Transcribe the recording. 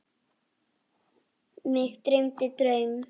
Mig dreymdi draum.